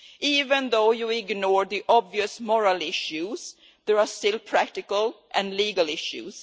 Even if you ignore the obvious moral issues, there are still practical and legal issues.